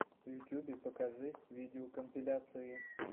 в ютюбе покажи видеокомпиляции